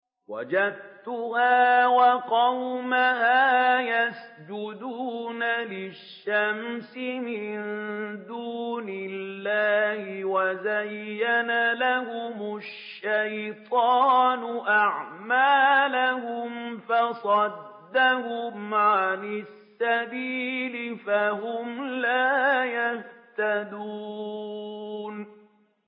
وَجَدتُّهَا وَقَوْمَهَا يَسْجُدُونَ لِلشَّمْسِ مِن دُونِ اللَّهِ وَزَيَّنَ لَهُمُ الشَّيْطَانُ أَعْمَالَهُمْ فَصَدَّهُمْ عَنِ السَّبِيلِ فَهُمْ لَا يَهْتَدُونَ